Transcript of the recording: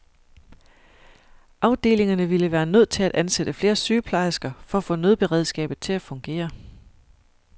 Afdelingerne ville være nødt til at ansætte flere sygeplejersker for at få nødberedskabet til at fungere.